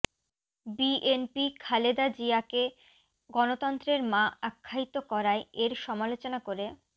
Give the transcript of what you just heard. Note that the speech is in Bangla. বিএনপি খালেদা জিয়াকে গণতন্ত্রের মা আখ্যায়িত করায় এর সমালোচনা করে